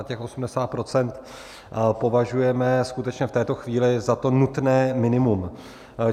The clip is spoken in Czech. A těch 80 % považujeme skutečně v této chvíli za to nutné minimum.